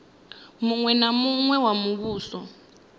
muṅwe na muṅwe wa muvhuso